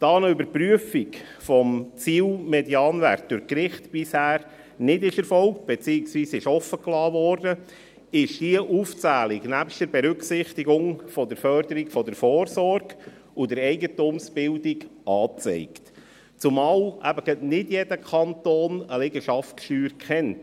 Da eine Überprüfung des Ziel-Medianwerts durch die Gerichte bisher nicht erfolgte, beziehungsweise offengelassen wurde, ist diese Aufzählung nebst der Berücksichtigung der Förderung der Vorsorge und der Eigentumsbildung angezeigt, zumal eben nicht jeder Kanton eine Liegenschaftssteuer kennt.